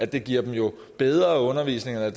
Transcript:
det giver dem jo bedre undervisning eller